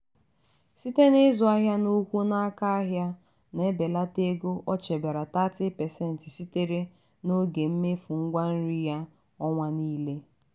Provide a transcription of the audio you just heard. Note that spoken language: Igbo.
siteb n'ịzụ ahịa n'ụkwu n'aka ụlọ ahịa na- ebelata ego o chebere 30% sitere n'ego mmefu ngwa nri ya ọnwa niile.